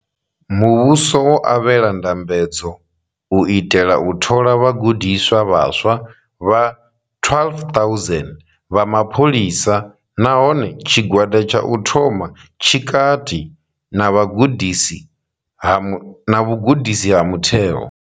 Muvhuso wo avhela ndambedzo u itela u thola vhagudiswa vhaswa vha 12,000 vha mapholisa, nahone tshigwada tsha u thoma tshi kati na vhugudisi ha mutheo.